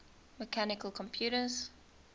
mechanical computers